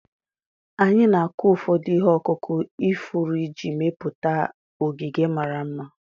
Anyị na-akụ ụfọdụ ihe ọkụkụ ifuru iji mepụta ogige mara mma.